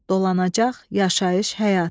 Dolanacaq, yaşayış, həyat.